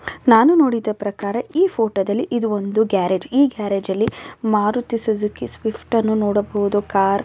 ನಾನು ನೋಡಿದ ಪ್ರಕಾರ ಈ ಫೋಟೋದಲ್ಲಿ ಇದು ಒಂದು ಗ್ಯಾರೇಜ್ ಈ ಗ್ಯಾರೇಜ್ ಅಲ್ಲಿ ಮಾರುತಿ ಸುಜುಕಿ ಸ್ವಿಫ್ಟ್ ಅನ್ನು ನೋಡಬಹುದು ಕಾರ್ --